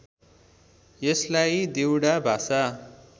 यसलाई देउडा भाषा